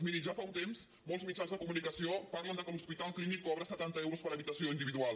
miri ja fa un temps molts mitjans de comunicació parlen que l’hospital clínic cobra setanta euros per habitació individual